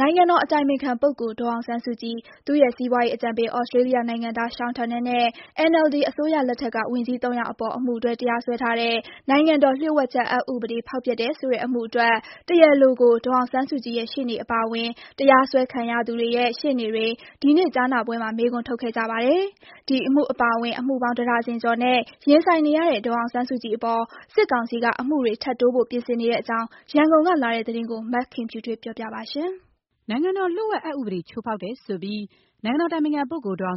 နိုင်ငံတော်အတိုင်ပင်ခံပုဂ္ဂိုလ် ဒေါ်အောင်ဆန်းစုကြည်၊ သူ့ရဲ့ စီးပွားရေးအကြံပေး သြစတြေးလျ နိုင်ငံသား Sean Turnell နဲ့ NLD အစိုးရလက်ထက်က ဝန်ကြီး သုံးယောက်အပေါ် အမှုတွဲ တရားစွဲထားတဲ့ နိုင်ငံတော်လျှို့ဝှက်ချက် အက်ဥပဒေ ဖောက်ဖျက်တယ်ဆိုတဲ့ အမှုအတွက် တရားလိုကို ဒေါ်အောင်ဆန်းစုကြည်ရဲ့ ရှေ့နေအပါအဝင် တရားစွဲခံရသူတွေရဲ့ ရှေ့နေတွေ ဒီနေ့ကြားနာပွဲမှာ မေးခွန်းထုတ်ခဲ့ကြပါတယ်။ ဒီအမှုအပါအဝင် အမှုပေါင်း တဒါဇင်ကျော်နဲ့ ရင်ဆိုင်နေရတဲ့ ဒေါ်အောင်းစုကြည်အပေါ် စစ်ကောင်စီက အမှုတွေ ထပ်တိုးဖို့ ပြင်ဆင်နေတဲ့ အကြောင်း ရန်ကုန်ကလာတဲ့သတင်းကို မခင်ဖြူထွေးက တင်ပြပေးထားပါတယ်။ နိုင်ငံတော်လျှို့ဝှက်ချက် အက်ဥပဒေကို ချိုးဖောက်တယ်ဆိုပြီး ဒေါ်အောင်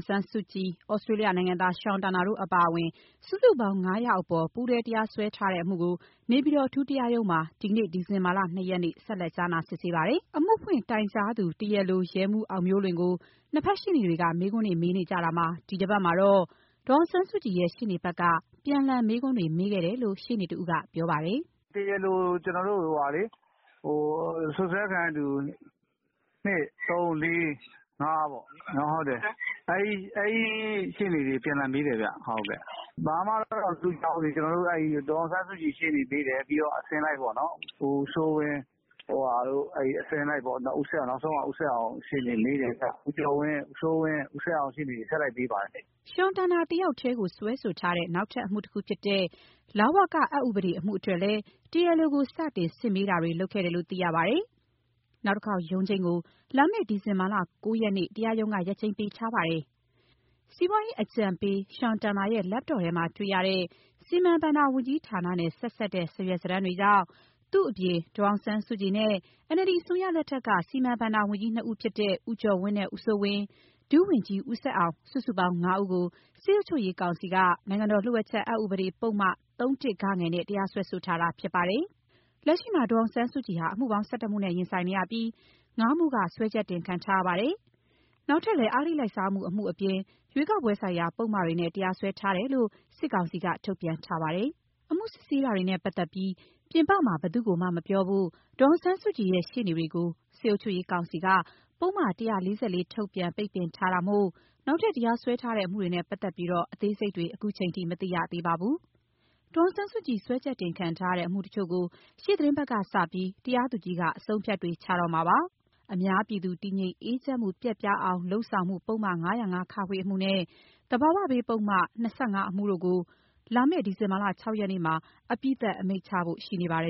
ဆန်းစုကြည်၊ သြစတြေး လျနိုင်ငံသား Sean Turnell တို့အပါအဝင် စုစုပေါင်း ၅ ယောက်အပေါ် ပူးတွဲတရားစွဲထားတဲ့အမှုကို နေပြည်တော် အထူးတရားရုံးမှာ ဒီနေ့ ဒီဇင်ဘာ ၂ ရက်နေ့ ဆက်လက် စစ်ဆေးကြားနာပါတယ်။ အမှုဖွင့်တိုင်ကြားသူ တရားလို ရဲမှူးအောင်မျိုးလွင်ကို နှစ်ဘက်ရှေ့နေတွေက မေးခွန်းတွေ မေးနေ ကြတာမှာ ဒီတပတ်မှာတော့ ဒေါ်အောင်ဆန်းစုကြည်ရဲ့ ရှေ့နေဘက်က ပြန်လှန်မေးခွန်းတွေ မေးခဲ့တယ်လို့ရှေ့နေတဦးကပြောပါတယ်။ “ကျနော်တို့ တရားလိုကို စွပ်စွဲခံရသူ ၂၊ ၃၊ ၄၊ ၅ ပေါ့ အဲလိုအစဉ်လိုက် အပြန်အလှန်မေးကြတယ်။ ဘာမှတော့ မထူးခြားသေးပါဘူး။ ဒေါ်အောင်ဆန်းစုကြည် ရှေ့နေမေးတယ်။ ပြီးတော့အစဉ်လိုက်ပေါ့ ဦးစိုးဝင်း၊ အစဉ်လိုက်ပေါ့။ နောက်ဆုံးက ဦးဆက်အောင်ရှေ့နေ။ ဦးစိုးဝင်း၊ ဦးကျော်ဝင်း၊ ဦးဆက်အောင် ဆက်တိုက်မေးပါတယ်။” Sean Turnell တယောက်တည်းကို နောက်ထပ်စွဲဆိုထားတဲ့ လဝကအက်ဥပဒေ အမှုအတွက်လည်း တရားလိုကို စတင်စစ်မေးတာတွေ လုပ်ခဲ့တယ်လို့ သိရပါတယ်။ နောက်တခေါက် ရုံးချိန်းကို လာမယ့် ဒီဇင်ဘာ ၉ ရက်နေ့ကို တရားရုံးက ရက်ချိန်းပေးထားပါတယ်။ စီးပွားရေးအကြံပေး Sean Turnell ရဲ့ Laptop ထဲမှာတွေ့ရတဲ့ စီမံဘဏ္ဍာဝန်ကြီးဌာနနဲ့ ဆက်စပ်တဲ့ စာရွက်စာတမ်းတွေကြောင့် သူ့အပြင် ဒေါ်အောင်ဆန်းစုကြည်နဲ့ NLD အစိုးရလက်ထက်က စီမံဘဏ္ဍာ ဝန်ကြီး နှစ်ဦးဖြစ်တဲ့ ဦးကျော်ဝင်းနဲ့ ဦးစိုးဝင်း၊ ဒုဝန်ကြီး ဦးဆက်အောင် စုစုပေါင်း ၅ ဦးကို စစ်အုပ် ချုပ်ရေး ကောင်စီက နိုင်ငံတော်လျှို့ဝှက်ချက်အက်ဥပဒေပုဒ်မ ၃ (၁) ဂ နဲ့ တရားစွဲဆိုထားတာ ဖြစ်ပါတယ်။ လက်ရှိမှာ ဒေါ်အောင်ဆန်းစုကြည်ဟာ အမှုပေါင်း ၁၁ မှုနဲ့ ရင်ဆိုင်နေရပြီး ၅ မှုက စွဲချက်တင်ခံထား ရပါတယ်။ နောက်ထပ်လည်း အဂတိလိုက်စားမှု တမှုအပြင် ရွေးကောက်ပွဲဆိုင်ရာ ပုဒ်မတွေနဲ့ တရားစွဲ ထားတယ်လို့ စစ်ကောင်စီက ထုတ်ပြန်ထားပါတယ်။ အမှုစစ်ဆေးတာတွေနဲ့ပတ်သက်ပြီး ပြင်ပမှာ ဘယ်သူ့ကိုမှမပြောဖို့ ဒေါ်အောင်ဆန်းစုကြည်ရဲ့ ရှေ့နေ တွေကို စစ်အုပ်ချုပ်ရေးကောင်စီက ပုဒ်မ ၁၄၄ ထုတ် ပိတ်ပင်ထားတာမို့ နောက်ထပ်တရားစွဲထားတဲ့ အမှုတွေနဲ့ပတ်သက်ပြီး အသေးစိတ်တွေ ခုချိန်ထိ မသိရသေးပါဘူး။ ဒေါ်အောင်ဆန်းစုကြည် စွဲချက်တင်ခံထားရတဲ့ အမှုတချို့ကို ရှေ့သီတင်းပတ်ကစပြီး တရားသူကြီးက အဆုံးအဖြတ်တွေ ချတော့မှာဖြစ်ပါတယ်။ အများပြည်သူ တည်ငြိမ်အေးချမ်းမှု ပျက်ပြားအောင် လုပ်ဆောင်မှု ပုဒ်မ ၅၀၅-ခ အမှု နဲ့ သဘာဝဘေးပုဒ်မ ၂၅ အမှုတို့ကို လာမယ့် ဒီဇင်ဘာ ၆ ရက်နေ့မှာ အပြီးသတ် အမိန့်ချဖို့ရှိနေပါတယ်